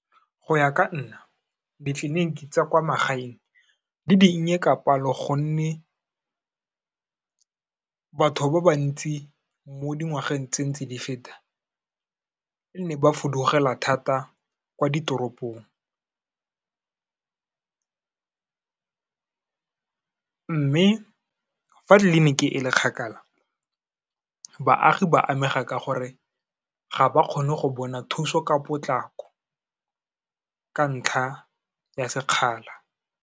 Go ya ka nna, ditleliniki tsa kwa magaeng di dinnye ka palo gonne batho ba bantsi mo dingwageng tse ntse di feta, nne ba fudugela thata kwa ditoropong. Mme, fa tleliniki e le kgakala, baagi ba amega ka gore ga ba kgone go bona thuso ka potlako, ka ntlha ya sekgala.